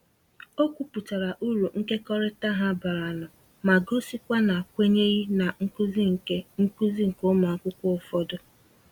O kwuputara uru nkekọrịta ha bara nụ ma gosikwa na kwenyeghị na nkuzi nke nkuzi nke ụmụ akwụkwọ ụfọdụ.